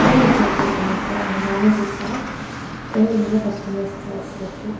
மூணு சேர்ஸ் இருக்கு மொத்தோ ஒன்னு மேனேஜர் சேர் ரெண்டு வந்து கஸ்டமர்ஸ் சேர்ஸ் .